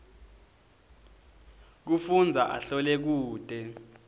kufundza ahlole kute